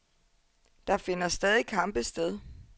Der finder stadig kampe sted.